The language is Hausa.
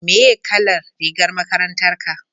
meye kalan rigar makarantar ka?